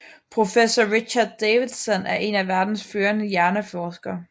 Professor Richard Davidson er en af verdens førende hjerneforskere